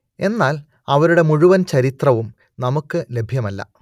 എന്നാൽ അവരുടെ മുഴുവൻ ചരിത്രവും നമുക്ക് ലഭ്യമല്ല